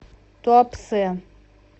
туапсе